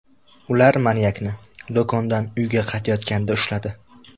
Ular manyakni do‘kondan uyga qaytayotganida ushladi.